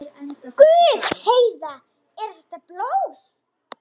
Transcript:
Guð, Heiða, er þetta blóð?